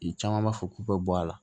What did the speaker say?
I caman b'a fɔ k'u bɛ bɔ a la